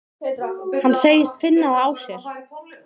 Hann segist finna það á sér.